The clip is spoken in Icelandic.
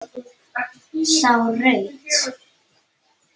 Sá rautt.